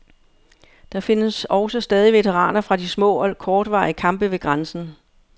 Der findes også stadig veteraner fra de små og kortvarige kampe ved grænsen.